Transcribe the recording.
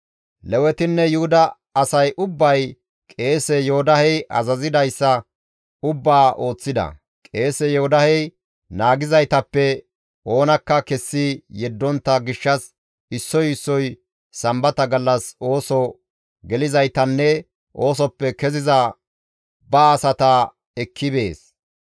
Lewetinne Yuhuda asay ubbay qeese Yoodahey azazidayssa ubbaa ooththida; qeese Yoodahey naagizaytappe oonakka kessi yeddontta gishshas issoy issoy sambata gallas ooso gelizaytanne oosoppe keziza ba asata ekki bees.